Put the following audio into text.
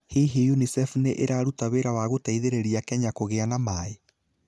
Hihi UNICEF nĩ ĩraruta wĩra wa gũteithĩrĩria Kenya kũgĩa na maĩ?